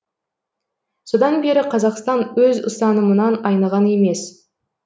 содан бері қазақстан өз ұстанымынан айныған емес